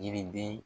Yiriden